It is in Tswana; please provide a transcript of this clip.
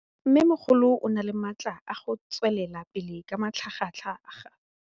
Mmêmogolo o na le matla a go tswelela pele ka matlhagatlhaga.